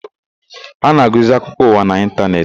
A na-agụzi akụkọ ụwa n'ịntanetị.